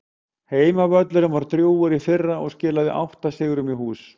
Heimavöllurinn var drjúgur í fyrra og skilaði átta sigrum í hús.